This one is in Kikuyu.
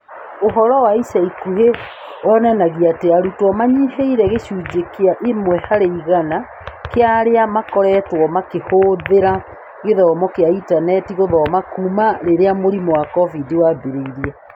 Ũhoro wa ica ikuhĩ wonanagia atĩ arutwo manyihĩĩre gĩcunjĩ kĩa imwe harĩ igana kĩa arĩa makoretwo makĩhũthĩra gĩthomo kĩa intaneti gũthoma kuuma rĩrĩa mũrimũ wa COVID wambĩrĩirie.